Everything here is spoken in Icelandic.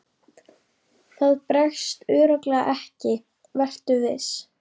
Það bregst örugglega ekki, vertu viss.